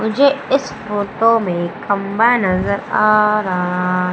मुझे इस फोटो में खंबा नजर आ रहा--